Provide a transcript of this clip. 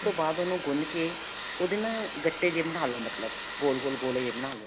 ਬਾਅਦ ਉਹਨੂੰ ਗੁੰਨ ਕੇ ਉਹਦੇ ਨਾ ਗੱਟੇ ਜੇ ਬਣਾਲੋ ਮਤਲਬ ਗੋਲ ਗੋਲ ਗੋਲੇ ਜੇ ਬਣਾਲੋ